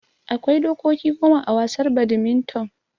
Akwai dokoki goma a wasar badminton